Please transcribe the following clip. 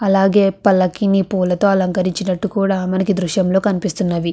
అలాగే పల్లకిని పూలతో అలంకరించినట్టు కూడా మనకి దృశ్యం లో కనిపిస్తున్నవి.